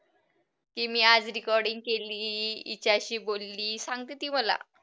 की मी आज recording केली. हिच्याशी बोलली, सांगते ती मला.